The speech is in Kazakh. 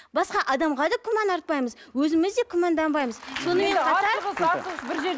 басқа адамға күмән артпаймыз өзіміз де күмәнданбаймыз сонымен қатар